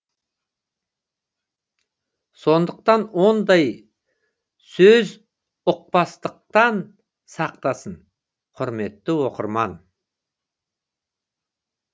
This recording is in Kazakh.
сондықтан ондай сөзұқпастықтан сақтасын құрметті оқырман